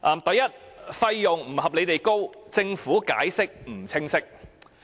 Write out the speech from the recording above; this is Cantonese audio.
第一，費用不合理地高，政府解釋不清晰。